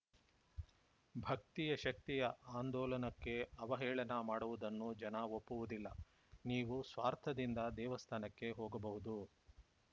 ಭಕ್ತಿಯ ಶಕ್ತಿಯ ಆಂದೋಲನಕ್ಕೆ ಅವಹೇಳನ ಮಾಡುವುದನ್ನು ಜನ ಒಪ್ಪುವುದಿಲ್ಲ ನೀವು ಸ್ವಾರ್ಥದಿಂದ ದೇವಸ್ಥಾನಕ್ಕೆ ಹೋಗಬಹುದು